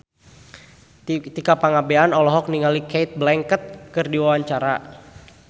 Tika Pangabean olohok ningali Cate Blanchett keur diwawancara